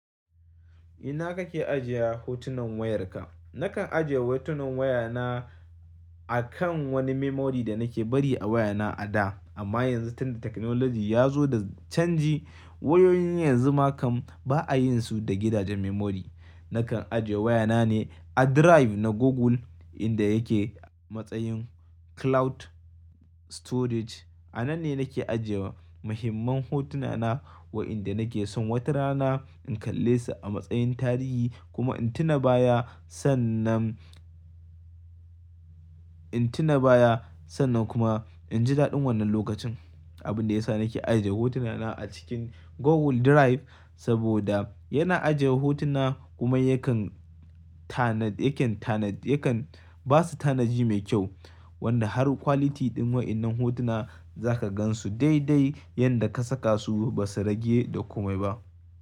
Ina kake ajiye hotunan wayarka? Nakan ajiye hotunan wayana a kan wani memory da nake bari a wayana a da. Amma yanzu tunda technology ya zo da canji, wayoyin yanzu ma kam ba a yin su da gidajen memory. Nakan ajiye wayana ne a drive na Google inda yake a matsayin cloud storage. A nan ne nake ajiyewa muhimman hotunana wa'inda nake son wata rana in kalle su a matsayin tarihi kuma in tuna baya sannan, in tuna baya sannan kuma in ji daɗin wannan lokacin. Abin da ya sa nake ajiye hotunana a cikin Google Drive saboda yana ajiye hotuna kuma yakan tanad, yakan tanad, yakan ba su tanadi mai kyau wanda har quality ɗin wa'innan hotuna za ka gan su dai dai yanda ka saka su ba su rage da komai ba.